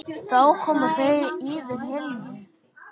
Þá koma þeir yfir Helju.